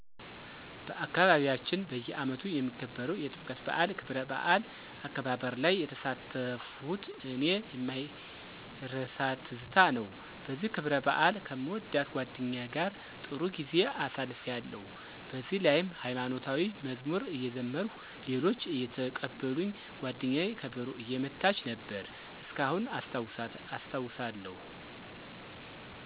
በአካባቢያችን በየአመቱ የሚከበረዉ የጥምቀት በአል ክብረባዓል አከባበርላይ የተሳተፍሁት ለኔ የማይረሳትዝታ ነዉ በዚህ ክብረባአል ከምወዳት ጓደኛየ ጋር ጥሩ ጊዜ አሳልፊያለሁ በዚህላይም ሀይማኖታዊ መዝሙር እየዘመርሁ ሌሎች አየተቀበሉኝ ጓደኘየ ከበሮ እየመታችነበር እስካሁን አስታዉሰዋለሁ።